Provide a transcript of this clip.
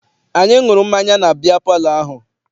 Anyị ṅụrụ mmanya na biya palọ ahụ.